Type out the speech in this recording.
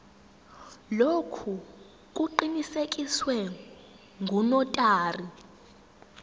lokhu kuqinisekiswe ngunotary